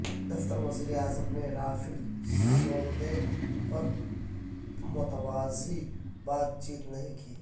دفتر وزیراعظم نے رافیل سودے پر متوازی بات چیت نہیں کی